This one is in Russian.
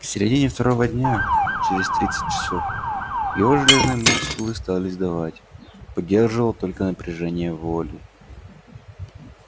к середине второго дня через тридцать часов его железные мускулы стали сдавать поддерживало только напряжение воли